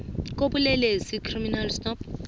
kobulelesi icrime stop